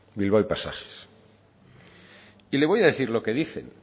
bilbao y pasajes y le voy a decir lo que dicen